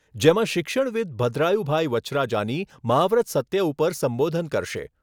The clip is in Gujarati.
જેમાં શિક્ષણવીદ ભદ્રાયુભાઈ વચ્છરાજાની મહાવ્રત સત્ય ઉપર સંબોધન કરશે.